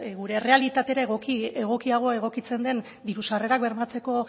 gure errealitatera egokiago egokitzen den diru sarrerak bermatzeko